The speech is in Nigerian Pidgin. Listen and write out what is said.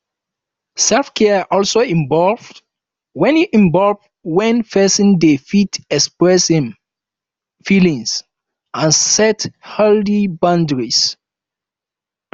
self care also involve when involve when person dey fit express im feelings and set healthy boundaries